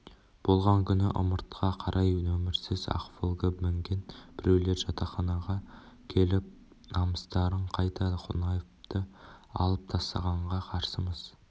болған күні ымыртқа қарай нөмірсіз ақ волга мінген біреулер жатақханаға келіп намыстарың қайда қонаевты алып тастағанға қарсымыз